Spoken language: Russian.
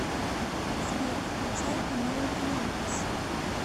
сбер включай каналы киноужас